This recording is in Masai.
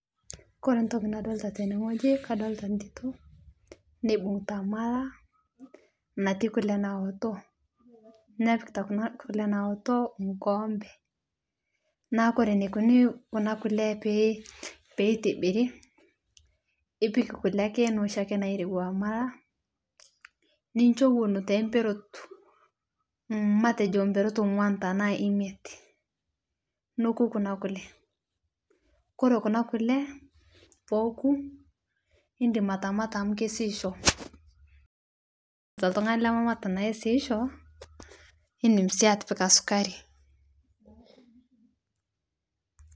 Kore ntoki nadoltaa tene ng'oji kadoltaa ntitoo neibung'ita malaa natii kule nawotoo nepikita kuna kule nawoto nkoompe naa kore neikoni kuna kule peitibiri ipik kule ake noshi narewa malaa ninsho ewon temperot matejo mperot ong'uan tanaa imiet nokuu kunaa kulee kore kuna kule pooku indim atamata amu keisiisho toltung'ani lememat naisiisho indim sii atipika sukari.